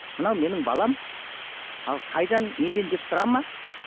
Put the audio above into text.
мынау менің балам ал қайдан неден деп сұрама